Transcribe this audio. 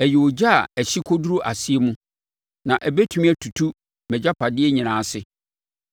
Ɛyɛ ogya a ɛhye kɔduru ɔsɛeɛ mu na ɛbɛtumi atutu mʼagyapadeɛ nyinaa ase.